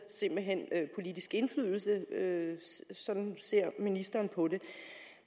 politisk indflydelse sådan ser ministeren på det